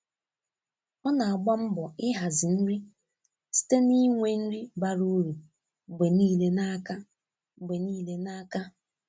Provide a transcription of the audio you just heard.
Ọ na-agba mbọ ịhazi nri site n'inwe nri bara uru mgbe niile n'aka. mgbe niile n'aka.